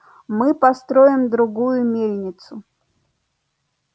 мы построим другую мельницу